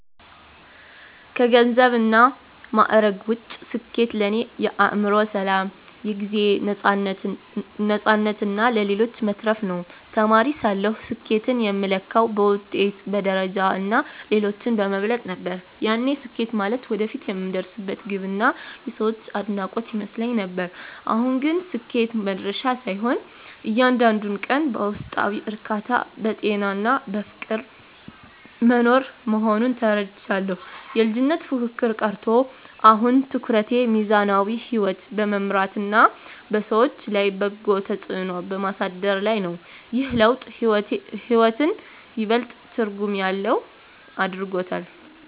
ከገንዘብና ማዕረግ ውጭ፣ ስኬት ለእኔ የአእምሮ ሰላም፣ የጊዜ ነፃነትና ለሌሎች መትረፍ ነው። ተማሪ ሳለሁ ስኬትን የምለካው በውጤት፣ በደረጃና ሌሎችን በመብለጥ ነበር፤ ያኔ ስኬት ማለት ወደፊት የምደርስበት ግብና የሰዎች አድናቆት ይመስለኝ ነበር። አሁን ግን ስኬት መድረሻ ሳይሆን፣ እያንዳንዱን ቀን በውስጣዊ እርካታ፣ በጤናና በፍቅር መኖር መሆኑን ተረድቻለሁ። የልጅነት ፉክክር ቀርቶ፣ አሁን ትኩረቴ ሚዛናዊ ሕይወት በመምራትና በሰዎች ላይ በጎ ተጽዕኖ በማሳደር ላይ ነው። ይህ ለውጥ ሕይወትን ይበልጥ ትርጉም ያለው አድርጎታል።